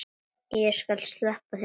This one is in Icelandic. Og ég skal sleppa þér!